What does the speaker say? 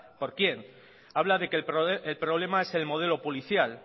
por quién habla de que el problema es el modelo policial